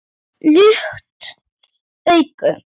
Lukt augu